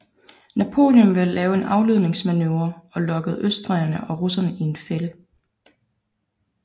Napoleon ville lave en afledningsmanøvre og lokke østrigerne og russerne i en fælde